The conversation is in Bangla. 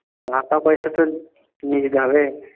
টাকাপয়সা তো নিয়ে যেতে হবে?